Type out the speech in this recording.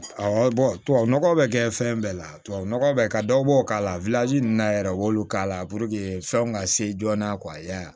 Awɔ tubabu nɔgɔ bɛ kɛ fɛn bɛɛ la tubabu nɔgɔ bɛ ka dɔw k'a la ninnu na yɛrɛ u b'olu k'a la fɛnw ka se joona